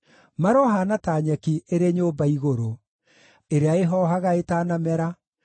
Marohaana ta nyeki ĩrĩ nyũmba igũrũ, ĩrĩa ĩhoohaga ĩtanamera;